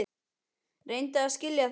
Reyndu að skilja það!